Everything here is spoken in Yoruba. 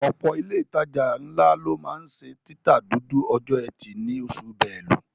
Ọ̀pọ̀ ilé ìtajà ńlá ló máa ń ṣe títa dúdú ọjọ́ ẹtì ní oṣù Belú